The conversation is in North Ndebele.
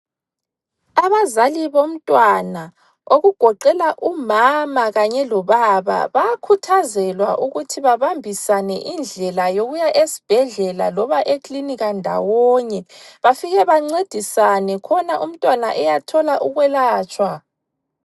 Abazali bomntwana okugoqela umama kanye lobaba bayakhuthazelwa ukuthi babambisane indlela yokuya esibhedlela lona eklinika ndawonye bafike bancedisane khona umntwana eyathola ukwelatshwa.